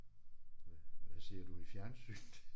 Hvad hvad ser du i fjernsynet?